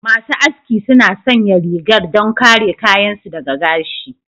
Masu aski suna sanya rigar don kare kayan su daga gashi.